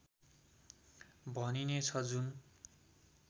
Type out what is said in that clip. भनिने छ जुन